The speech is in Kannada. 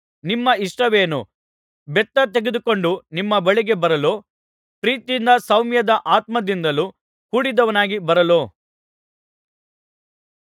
ನಿಮ್ಮ ಇಷ್ಟವೇನು ಬೆತ್ತ ತೆಗೆದುಕೊಂಡು ನಿಮ್ಮ ಬಳಿಗೆ ಬರಲೋ ಪ್ರೀತಿಯಿಂದಲೂ ಸೌಮ್ಯದ ಆತ್ಮದಿಂದಲೂ ಕೂಡಿದವನಾಗಿ ಬರಲೋ